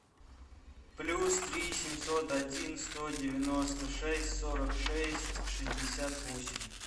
плюс три семьсот один сто девяносто шесть сорок шесть шестьдесят восемь